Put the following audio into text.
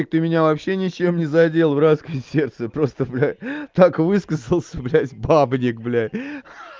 и ты меня вообще ничем не задел братское сердце просто бля так высказался блядь бабник бля ха-ха